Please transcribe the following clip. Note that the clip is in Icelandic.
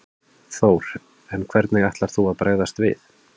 Þór: En hvernig ætlar þú að bregðast við?